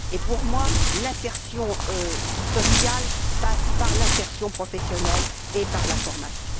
Pour moi, l'insertion sociale passe par l'insertion professionnelle et par la formation.